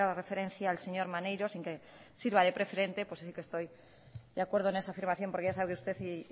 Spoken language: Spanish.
referencia el señor maneiro sin que sirva de preferente puesto que estoy de acuerdo en esa afirmación porque ya sabe usted y